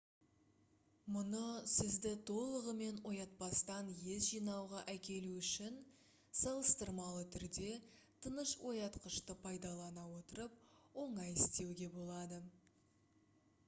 мұны сізді толығымен оятпастан ес жинауға әкелу үшін салыстырмалы түрде тыныш оятқышты пайдалана отырып оңай істеуге болады